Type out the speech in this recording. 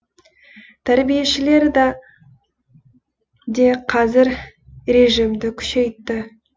тәрбиешілер де қазір режимді күшейтті